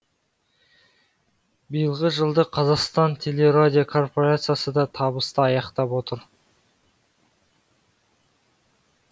биылғы жылды қазақстан телерадиокорпорациясы да табысты аяқтап отыр